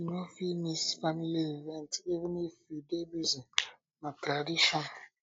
you you um no fit miss family event even if you dey busy na tradition